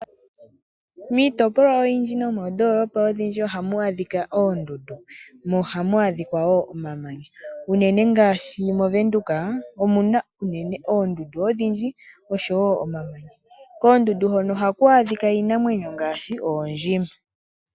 Miitopolwa oyindji nomoondoolopa odhindji ohamu adhika oondundu mo ohamu adhika wo omamanya. Unene ngaashi moVenduka omuna oondumdu odhindji, osho wo omamanya. Koondundu hono ohaku adhika iinamwenyo ngaashi oondjima.